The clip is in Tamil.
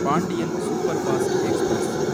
Pandian superfast express